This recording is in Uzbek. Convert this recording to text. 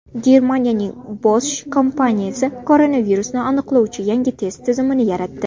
Germaniyaning Bosch kompaniyasi koronavirusni aniqlovchi yangi test tizimini yaratdi.